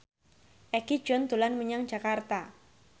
Egi John dolan menyang Jakarta